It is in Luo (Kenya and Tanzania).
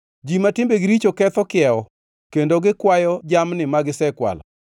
Ji ma timbegi richo ketho kiewo; kendo gikwayo jamni ma gisekwalo.